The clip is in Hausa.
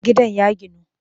Gidan ya ginu